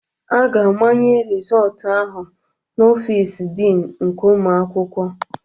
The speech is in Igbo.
A ga-amanye rịzọltụ ahụ na Ọfịs Dịn nke ụmụ akwụkwọ.